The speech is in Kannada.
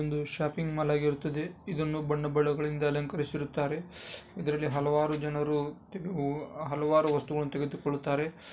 ಒಂದು ಶಾಪಿಂಗ್ ಮಾಲ್ ಆಗಿರುತ್ತದೆ ಇದನ್ನು ಬಣ್ಣ ಬಣ್ಣಗಳಿಂದ ಅಲಂಕಾರಿರುಸುತ್ತಾರೆ. ಇದರಲ್ಲಿ ಹಲವಾರು ಜನರು ಹಲವಾರು ವಸ್ತುಗಳನ್ನ ತೆಗೆದುಕೊಳ್ಳುತ್ತಾರೆ.